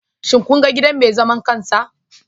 Shin kun ga gidan mai zaman kansa?